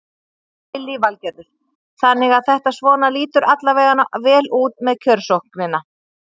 Lillý Valgerður: Þannig að þetta svona lítur alla veganna vel út með kjörsóknina?